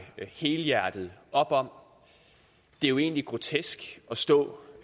helhjertet op om det er jo egentlig grotesk at stå